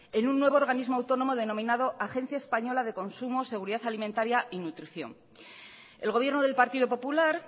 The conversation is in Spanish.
en un nuevo organismo autónomo denominado agencia española de consumo seguridad alimentaria y nutrición el gobierno del partido popular